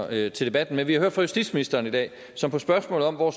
her til debatten men vi har hørt fra justitsministeren i dag som på et spørgsmål om hvor